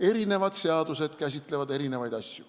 Erinevad seadused käsitlevad erinevaid asju.